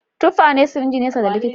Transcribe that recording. Tuffa ne ciringe nesa da likita